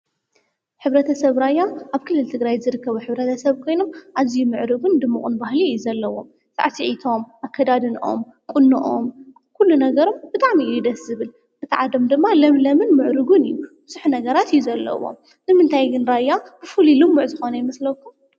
ሕብረተሰብ ራያ አብ ክልል ትግራይ ዝርከብ ሕብረተሰብ ኮይኑ አዝዩ ምዕሩግን ድሙቅን ባህሊ እዩ ዘለዎ። ሳዕሲዒቶም፣ አከዳድነኦም፣ ቁነኦም፣ ኩሉ ነገሮም ብጣዕሚ እዩ ደስ ዝብል። እቲ ዓዶም ድማ ለምለምን ምዕሩግን እዩ። ብዙሕ ነገራት እዩ ዘለዎ ንምንታይ ግን ራያ ፍሉይ ልሙዕ ዝኮነ ይመስለኩም?